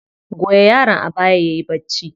Goya yaron a baya yayi bacci.